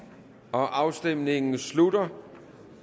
afstemningen slutter